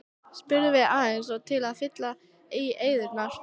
spurðum við eins og til að fylla í eyðuna.